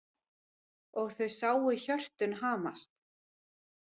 Og þau sáu hjörtun hamast.